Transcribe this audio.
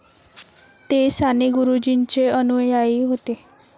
ते साने गुरुजींचे अनुयायी होते.